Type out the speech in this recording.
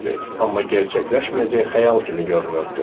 Amma gerçəkləşməyəcək xəyal kimi görünürdü.